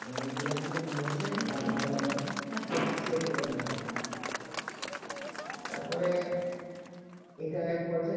মানে ওই university তে নিয়ম হচ্ছেই ব্যাংক acceptable না তার পরে এইটা এক করছে